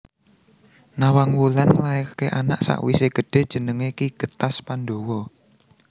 Nawangwulan nglairké anak sakwisé gedhé jenengé Ki Getas Pandawa